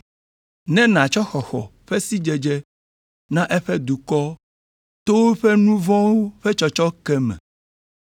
ne nàtsɔ xɔxɔ ƒe sidzedze na eƒe dukɔ to woƒe nu vɔ̃wo ƒe tsɔtsɔke me,